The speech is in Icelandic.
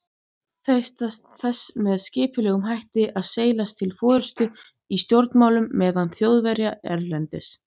freistað þess með skipulegum hætti að seilast til forystu í stjórnmálum meðal Þjóðverja erlendis.